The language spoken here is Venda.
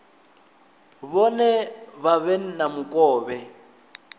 vhone vha vhe na mukovhe